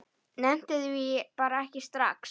Nennti því bara ekki strax.